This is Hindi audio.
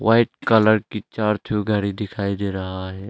व्हाइट कलर की चार ठो गाड़ी दिखाई दे रहा है।